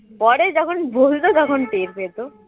পরে যখন বুঝতো তখন টের পেত